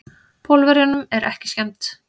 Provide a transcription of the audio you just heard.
Pólverjunum er ekki skemmt.